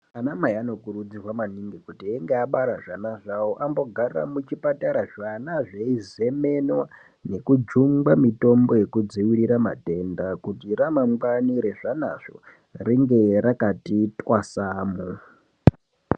Anamai anokurudzirwa maningi kuti einge abara zvana zvavo ambogara muchipatara zvana zveizemenwa nekujungwa mitombo yekudzivirira matenda kuti ramangwani rezvanazvo ringe rakati twasamu.